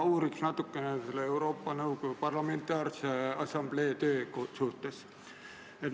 Ma uuriks natukene Euroopa Nõukogu Parlamentaarse Assamblee tööd.